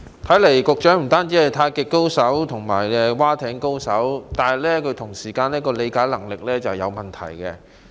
看來局長不單是太極高手及划艇高手，他的理解能力也有問題。